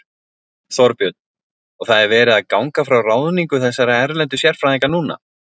Þorbjörn: Og það er verið að ganga frá ráðningu þessara erlendu sérfræðinga núna?